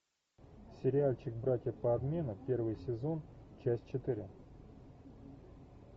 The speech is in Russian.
сериальчик братья по обмену первый сезон часть четыре